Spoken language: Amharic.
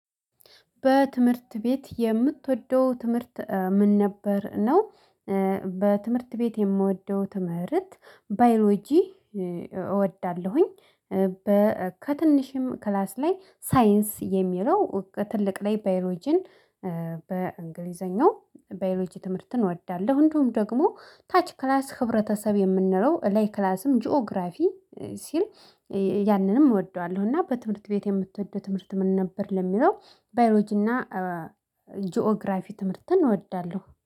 በትምህርት ቤት የምትወደው ትምህርት ምን ነበር ነው? በትምህርት ቤት የምወደው ትምህርት ባዮሎጂ እወዳለሁኝ። ከትንሽም ክላስ ላይ ሳይንስ የሚለው በትልቅ ላይ ባዮሎጂን። በእንግሊዘኛው ባዮሎጂ ትምህርትን እወዳለሁ። እንደውም ደግሞ ታች ክላስ ህብረተሰብ የምንለው እለይ ክላስም ጂኦግራፊ ሲል ያንንም እወደዋለሁ። እና በትምህርት ቤት የምትወደው ትምህርት ምን ነበር? ለሚለው ባዮሎጂና ጂኦግራፊ ትምህርትን እወዳለሁ